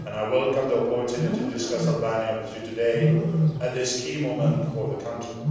I welcome the opportunity to discuss Albania with you today, at this key moment for the country.